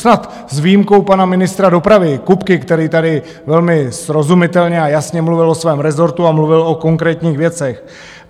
Snad s výjimkou pana ministra dopravy Kupky, který tady velmi srozumitelně a jasně mluvil o svém rezortu a mluvil o konkrétních věcech.